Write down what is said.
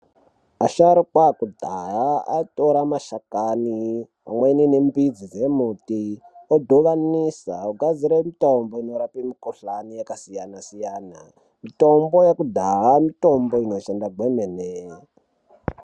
Asharukwa ekudhaya aitore mashakani pamweni nemidzi dzembiti odhuvanisa ogadzire mitombo inorape mikuhlani yakasiyana siyana mitombo yekudhaya mitombo inoshanda kwemene.